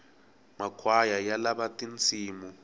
makhwaya ya lava tinsimu